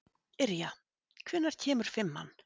Yrja, hvenær kemur fimman?